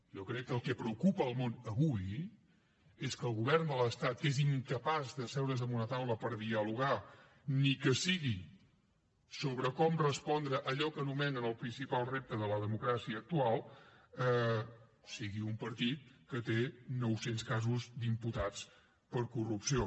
jo crec que el que preocupa el món avui és que el govern de l’estat és incapaç d’asseure’s en una taula per dialogar ni que sigui sobre com respondre a allò que anomenen el principal repte de la democràcia actual sigui un partit que té nou cents casos d’imputats per corrupció